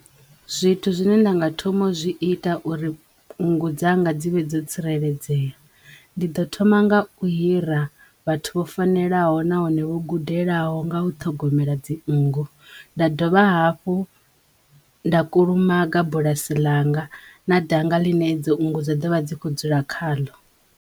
Zwithu zwine nda nga thoma u zwi ita uri nngu dzanga dzi vhe dzo tsireledzeya ndi ḓo thoma nga u hira vhathu vho fanelaho nahone vho gudelaho nga u ṱhogomela dzinngu nda dovha hafhu nda kulumaga bulasi ḽanga na danga ḽine dzinngu dza dovha dzi kho dzula kha ḽo.